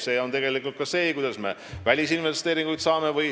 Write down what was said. See on tegelikult ka võimalus välisinvesteeringuid saada.